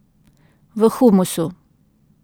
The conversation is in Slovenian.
V humusu.